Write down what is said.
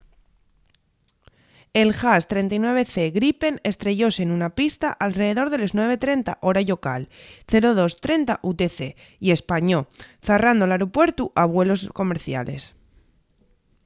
el jas 39c gripen estrellóse nuna pista alredor de les 9:30 hora llocal 0230 utc y españó zarrando l’aeropuertu a vuelos comerciales